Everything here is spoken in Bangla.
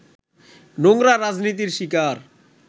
নোংরা রাজনীতির শিকার